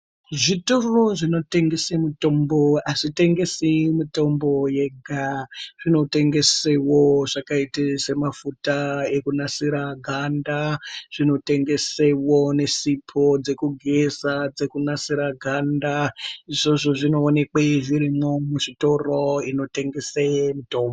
Zvitoro zvinotengese mutombo azvitengesi mutombo yega. Zvinotengesewo zvakaita semafuta ekunasira ganda, zvinotengesewo nesipho dzekugeza dzekunasira ganda. Izvozvo zvinoonekwe zvirimwo muzvitoro inotengese mitombo.